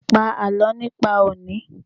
Pa àlọ́ nípa òní!